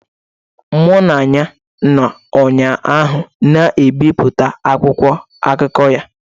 Mụ na ya nọ ụnyaahụ na-ebipụta akwụkwọ akụkọ ya.